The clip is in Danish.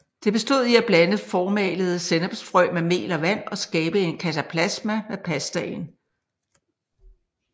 Det bestod i at blande formalede sennepsfrø med mel og vand og skabe en kataplasma med pastaen